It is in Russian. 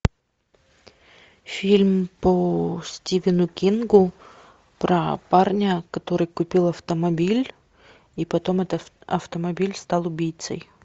фильм по стивену кингу про парня который купил автомобиль и потом этот автомобиль стал убийцей